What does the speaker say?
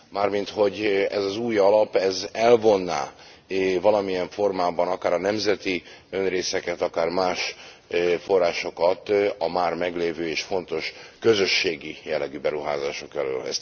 Mármint, hogy ez az új alap ez elvonná valamilyen formában akár a nemzeti önrészeket, akár más forrásokat a már meglévő és fontos közösségi jellegű beruházások elől.